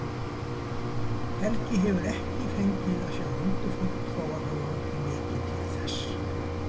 Helgi hefur ekki fengið að sjá huldufólk þó að hann langi mikið til þess.